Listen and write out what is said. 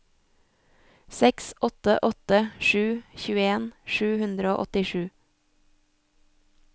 seks åtte åtte sju tjueen sju hundre og åttisju